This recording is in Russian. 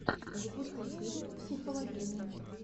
запусти фильм психологини